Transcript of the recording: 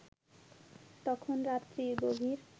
তখন রাত্রি গভীর